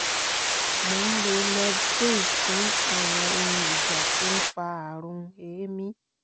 mo ń lo levquin fún àwọn ohun ìjà tó ń fa àrùn èémí